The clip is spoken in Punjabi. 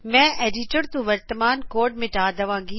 ਮੈ ਐਡਿਟਰ ਤੋ ਵਰਤਮਾਨ ਕੋਡ ਮਿਟਾ ਦਵਾਗੀ